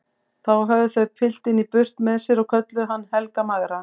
Þá höfðu þau piltinn í burt með sér og kölluðu hann Helga magra.